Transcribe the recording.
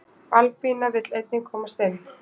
albanía vill einnig komast inn